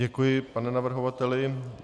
Děkuji, pane navrhovateli.